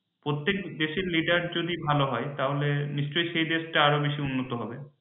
প্রত্যেক দেশের leader যদি ভালো হয় তাহলে নিশ্চয় সেই দেশ টা আরও বেশী উন্নত হবে।